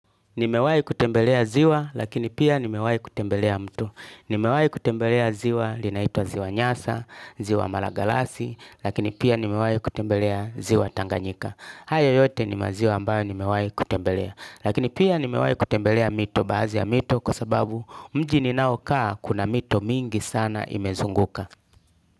Nimewahi kutembelea ziwa lakini pia nimewahi kutembelea mto. Nimewahi kutembelea ziwa linaitwa Ziwa Nyasa, Ziwa Malagarasi, lakini pia nimewahi kutembelea Ziwa Tanganyika. Hayo yote ni maziwa ambayo nimewahi kutembelea. Lakini pia nimewahi kutembelea mito baadhi ya mito kwa sababu mji ninaokaa kuna mito mingi sana imezunguka.